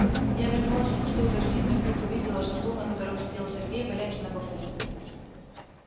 я вернулась в пустую гостиную и вдруг увидела что стул на котором сидел сергей валяется на боку